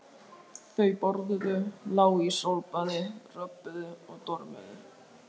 Þau borðuðu, lágu í sólbaði, röbbuðu og dormuðu.